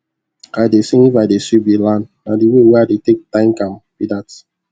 i dey sing if i dey sweep the land na the way wey i dey take thank am be that